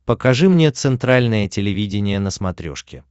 покажи мне центральное телевидение на смотрешке